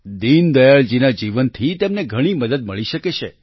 દીનદયાળજીના જીવનથી તેમને ઘણી જ મદદ મળી શકે છે